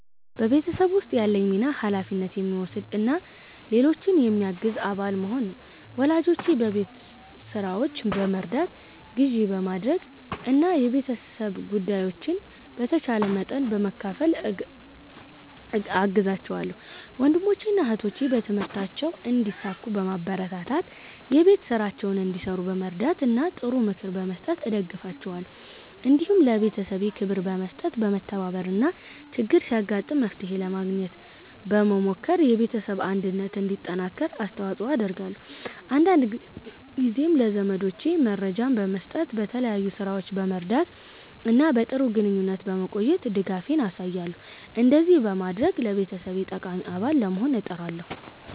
በቤተሰቤ ውስጥ ያለኝ ሚና ኃላፊነት የሚወስድ እና ሌሎችን የሚያግዝ አባል መሆን ነው። ወላጆቼን በቤት ሥራዎች በመርዳት፣ ግዢ በማድረግ እና የቤተሰብ ጉዳዮችን በተቻለ መጠን በመካፈል እገዛቸዋለሁ። ወንድሞቼንና እህቶቼን በትምህርታቸው እንዲሳኩ በማበረታታት፣ የቤት ሥራቸውን እንዲሠሩ በመርዳት እና ጥሩ ምክር በመስጠት እደግፋቸዋለሁ። እንዲሁም ለቤተሰቤ ክብር በመስጠት፣ በመተባበር እና ችግር ሲያጋጥም መፍትሄ ለማግኘት በመሞከር የቤተሰብ አንድነት እንዲጠናከር አስተዋጽኦ አደርጋለሁ። አንዳንድ ጊዜም ለዘመዶቼ መረጃ በመስጠት፣ በተለያዩ ሥራዎች በመርዳት እና በጥሩ ግንኙነት በመቆየት ድጋፌን አሳያለሁ። እንደዚህ በማድረግ ለቤተሰቤ ጠቃሚ አባል ለመሆን እጥራለሁ።"